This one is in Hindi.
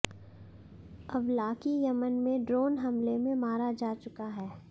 अवलाकी यमन में ड्रोन हमले में मारा जा चुका है